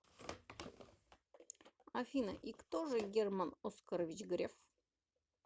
афина и кто же герман оскарович греф